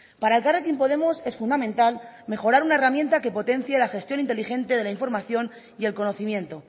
para elkarrekin podemos es fundamental mejorar una herramienta que potencie la gestión inteligente de la información y el conocimiento